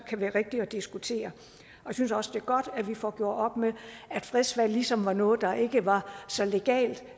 kan være rigtige at diskutere jeg synes også det er godt at vi får gjort op med at fredsvalg ligesom var noget der ikke var så legalt